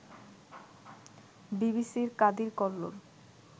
বিবিসির কাদির কল্লোল